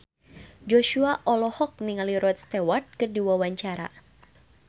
Joshua olohok ningali Rod Stewart keur diwawancara